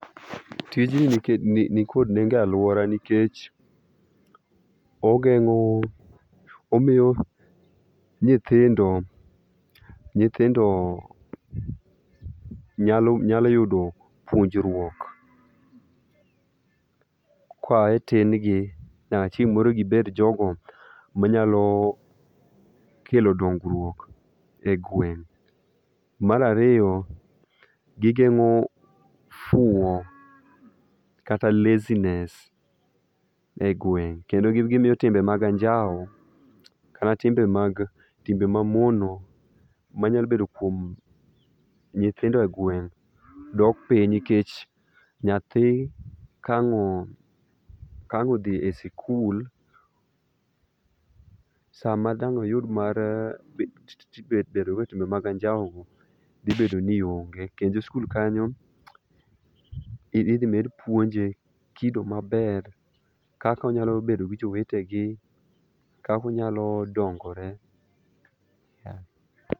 Tijni nikod nengo e alwora nikech omiyo nyithindo nyalo yudo puonjruok koa e tin gi nyaka chieng' moro gibed jogo manyalo kelo dongruok e gweng'. Mar ariyo, gigeng'o fuwo kata laziness ei gweng' kendo gimiyo timbe mag anjawo kata timbe ma mono manyalo bedo kuom nyithindo e gweng' dok piny nikech nyathi kang'odhi e sikul, sama dang'o yud mar donjo e timbe mag anjawo dhibedo ni onge. Kendo e skul kanyo idhi med puonje kido maber kaka onyalo bedo gi jowetegi, kaka onyalo dongore.